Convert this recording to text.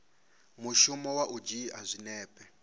mushumo wa u dzhia zwinepe